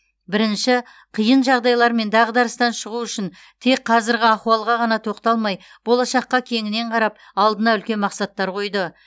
бірінші қиын жағдайлар мен дағдарыстан шығу үшін тек қазіргі ахуалға ғана тоқталмай болашаққа кеңінен қарап алдына үлкен мақсаттар қойды